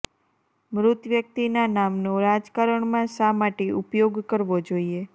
મૃત વ્યક્તિના નામનો રાજકારણમાં શા માટે ઉપયોગ કરવો જોઈએ